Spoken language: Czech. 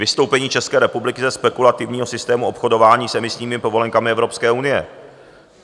Vystoupení České republiky ze spekulativního systému obchodování s emisními povolenkami Evropské unie.